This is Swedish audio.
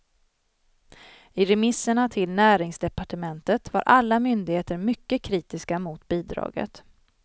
I remisserna till näringsdepartementet var alla myndigheter mycket kritiska mot bidraget.